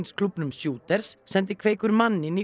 kampavínsklúbbnum Shooters sendi Kveikur mann inn